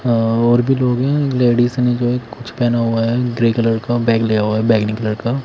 और भी लोग है लेडिस ने जो है कुछ पहना हुआ है ग्रे कलर का बैग लिया हुआ है बैगनी कलर का।